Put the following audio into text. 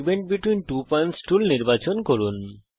segment between two points tool নির্বাচন করুন